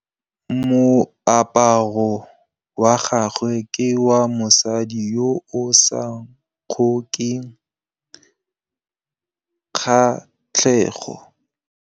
Moaparô wa gagwe ke wa mosadi yo o sa ngôkeng kgatlhegô.